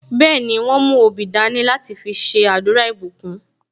Bẹẹni, wọn mú obì dání láti fi ṣe àdúrà ìbùkún